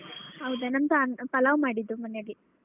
ಹೌದಾ ನಮ್ದ್ ಪಲಾವ್ ಮಾಡಿದ್ದು ಮನೆಯಲ್ಲಿ.